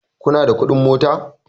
kuna da kuɗin mota?